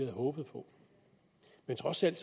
håbet på men trods alt